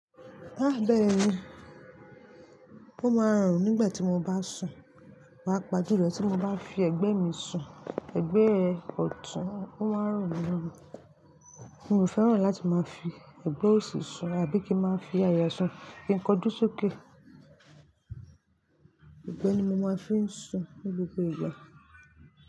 Má bẹ̀rẹ̀ íyen, ó máa ran mi nígbà tí mo bá sùn, paapa julo tí mo bá fi ẹ̀gbẹ́ mi sùn, ẹ̀gbẹ́ ọ̀tún ó máa ń ran mi lorunrùn. Mi ò fẹ́ràn láti máa fi ẹ̀gbẹ́ òsì sùn àbí kí n máa fi àyà sùn, kí n kóju sókè. Ẹgbẹ́ ni mo máa ń fi sùn ní gbogbo ìgbà.